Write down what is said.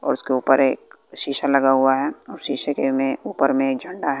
और उसके उपर एक शीशा लगा हुआ है शीशे के में उपर में झंडा है।